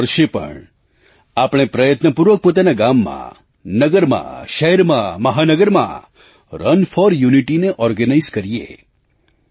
આ વર્ષે પણ આપણે પ્રયત્નપૂર્વક પોતાના ગામમાં નગરમાં શહેરમાં મહાનગરમાં રન ફોર Unityને ઓર્ગેનાઇઝ કરીએ